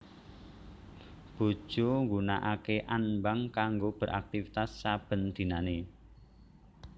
Bojo nggunakake anbang kanggo beraktivitas saben dinane